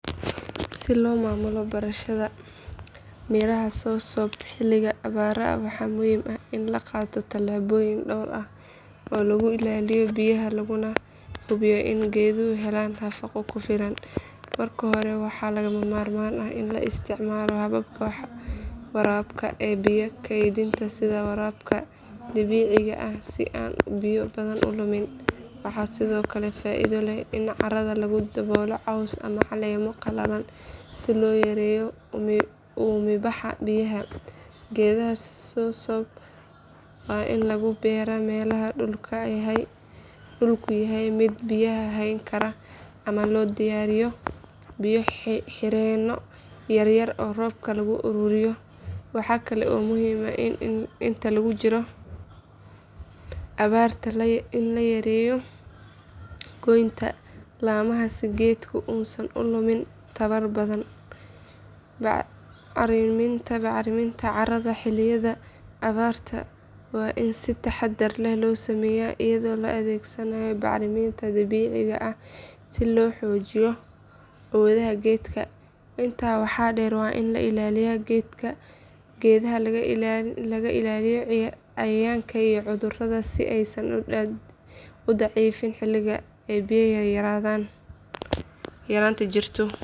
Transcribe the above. Si loo maamulo beerashada miraha soursop xilliga abaaraha waxaa muhiim ah in la qaato tallaabooyin dhowr ah oo lagu ilaaliyo biyaha laguna hubiyo in geeduhu helaan nafaqo ku filan. Marka hore waxaa lagama maarmaan ah in la isticmaalo hababka waraabka ee biyo keydinta sida waraabka dhibicda ah si aan biyo badan u lumin. Waxaa sidoo kale faa’iido leh in carrada lagu daboolo caws ama caleemo qalalan si loo yareeyo uumibaxa biyaha. Geedaha soursop waa in lagu beeraa meelaha dhulku yahay mid biyaha hayn kara ama loo diyaariyo biyo xireenno yaryar oo roobka lagu ururiyo. Waxaa kale oo muhiim ah in inta lagu jiro abaarta la yareeyo goynta laamaha si geedku uusan u lumin tamar badan. Bacriminta carrada xilliyada abaarta waa in si taxaddar leh loo sameeyaa iyadoo la adeegsanayo bacriminta dabiiciga ah si loo xoojiyo awoodda geedka. Intaa waxaa dheer waa in la ilaaliyo geedaha laga ilaaliyo cayayaanka iyo cudurrada si aysan u daciifin xilliga ay biyo yaraanta jirto.